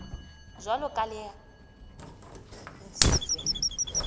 jwalo ka ha le ntshitswe